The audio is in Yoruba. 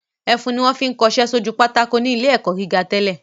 Ẹfun ni wọ́n fi ń kọṣẹ́ sójú pátákó ní ilé ẹ̀kọ́ gíga tẹ́lẹ̀